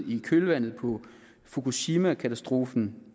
i kølvandet på fukushimakatastrofen